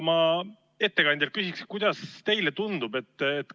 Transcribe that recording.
Ma küsin ettekandjalt, kuidas teile tundub.